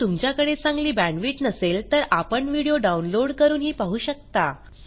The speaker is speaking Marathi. जर तुमच्याकडे चांगली बॅण्डविड्थ नसेल तर आपण व्हिडिओ डाउनलोड करूनही पाहू शकता